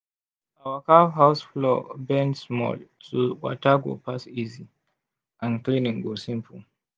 our cow house floor bend small so water go pass easy and cleaning go simple.